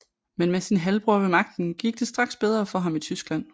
Men med sin halvbror ved magten gik det straks bedre for ham i Tyskland